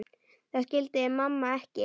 Það skildi mamma ekki.